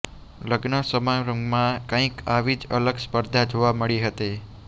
લગ્ન સમારંભમાં કંઈક આવી જ અલગ સ્પર્ધા જોવા મળી હતી